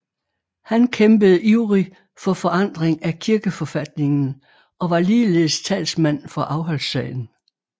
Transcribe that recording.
Han kæmpede ivrig for forandring af kirkeforfatningen og var ligeledes talsmand for afholdssagen